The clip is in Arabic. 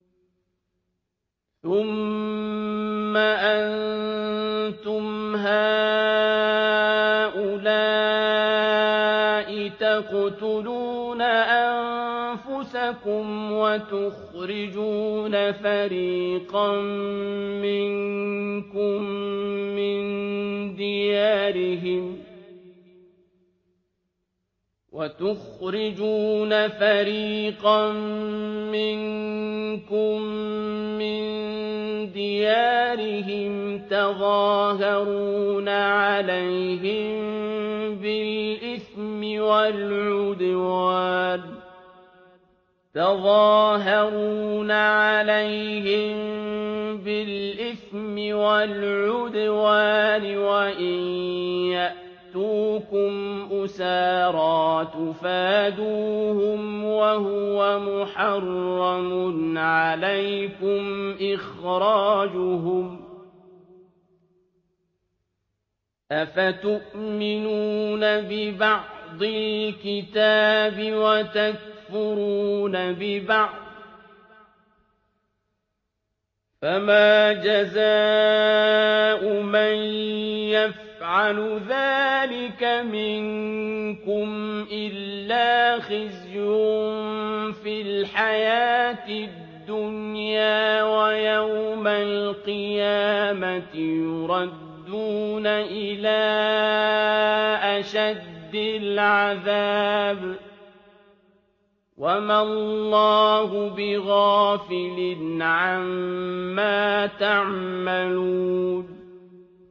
ثُمَّ أَنتُمْ هَٰؤُلَاءِ تَقْتُلُونَ أَنفُسَكُمْ وَتُخْرِجُونَ فَرِيقًا مِّنكُم مِّن دِيَارِهِمْ تَظَاهَرُونَ عَلَيْهِم بِالْإِثْمِ وَالْعُدْوَانِ وَإِن يَأْتُوكُمْ أُسَارَىٰ تُفَادُوهُمْ وَهُوَ مُحَرَّمٌ عَلَيْكُمْ إِخْرَاجُهُمْ ۚ أَفَتُؤْمِنُونَ بِبَعْضِ الْكِتَابِ وَتَكْفُرُونَ بِبَعْضٍ ۚ فَمَا جَزَاءُ مَن يَفْعَلُ ذَٰلِكَ مِنكُمْ إِلَّا خِزْيٌ فِي الْحَيَاةِ الدُّنْيَا ۖ وَيَوْمَ الْقِيَامَةِ يُرَدُّونَ إِلَىٰ أَشَدِّ الْعَذَابِ ۗ وَمَا اللَّهُ بِغَافِلٍ عَمَّا تَعْمَلُونَ